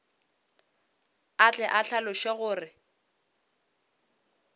a tle a hlaloše gore